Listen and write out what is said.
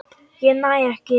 Ég næ ekki.